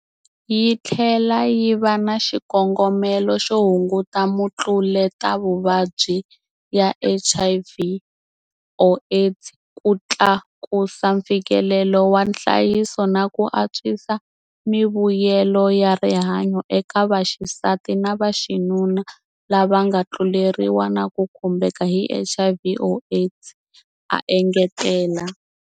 Yi tlhela yi va na xikongomelo xo hunguta mitluletavuvabyi ya HIV or AIDS, ku tlakusa mfikelelo wa nhlayiso na ku antswisa mivuyelo ya rihanyo eka vaxisati na vaxinuna lava nga tluleriwa na ku khumbeka hi HIV or AIDS, a engetela.